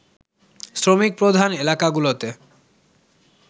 শ্রমিকপ্রধান এলাকাগুলোতে